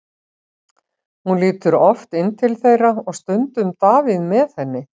Hún lítur oft inn til þeirra og stundum Davíð með henni.